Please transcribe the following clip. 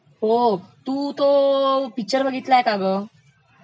तू तो पिक्चर बघितलायस का ग